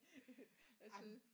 Jeg synes